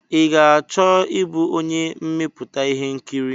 I ga-achọ ịbụ onye mmepụta ihe nkiri?